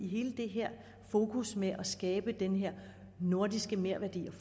hele det her fokus med at skabe den her nordiske merværdi